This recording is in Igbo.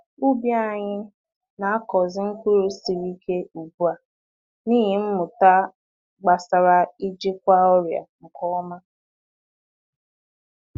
Ubi anyị na-akọzi mkpụrụ siri ike ugbu a n’ihi mmụta gbasara ijikwa ọrịa nke ọma